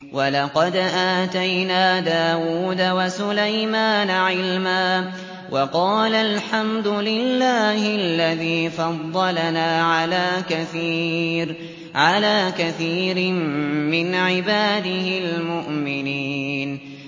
وَلَقَدْ آتَيْنَا دَاوُودَ وَسُلَيْمَانَ عِلْمًا ۖ وَقَالَا الْحَمْدُ لِلَّهِ الَّذِي فَضَّلَنَا عَلَىٰ كَثِيرٍ مِّنْ عِبَادِهِ الْمُؤْمِنِينَ